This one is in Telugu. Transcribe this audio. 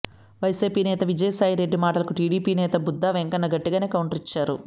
వైసీపీ నేత విజయసాయి రెడ్డి మాటలకూ టీడీపీ నేత బుద్ధా వెంకన్న గట్టిగానే కౌంటర్ ఇచ్చారు